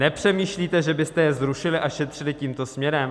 Nepřemýšlíte, že byste je zrušili a šetřili tímto směrem?